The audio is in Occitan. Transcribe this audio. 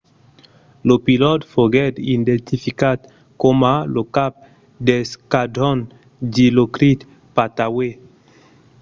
lo pilòt foguèt identificat coma lo cap d'esquadron dilokrit pattawee